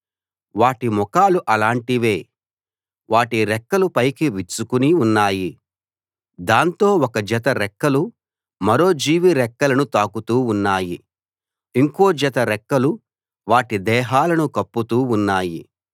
వాటి ముఖాలు అలాంటివే వాటి రెక్కలు పైకి విచ్చుకుని ఉన్నాయి దాంతో ఒక జత రెక్కలు మరో జీవి రెక్కలను తాకుతూ ఉన్నాయి ఇంకో జత రెక్కలు వాటి దేహాలను కప్పుతూ ఉన్నాయి